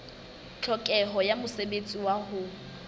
tlhokeho ya mosebetsi wa ho